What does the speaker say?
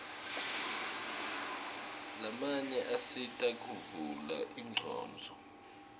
lamanye asita kuvula ingcondvo